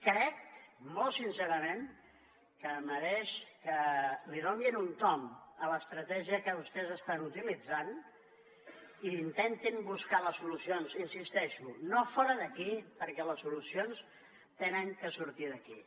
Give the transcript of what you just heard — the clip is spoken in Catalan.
crec molt sincerament que mereix que li donin un tomb a l’estratègia que vostès estan utilitzant i intentin buscar les solucions hi insisteixo no fora d’aquí perquè les solucions han de sortir d’aquí